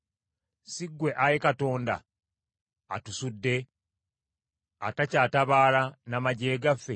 Si ggwe, ayi Katonda, atusudde, atakyatabaala n’amaggye gaffe?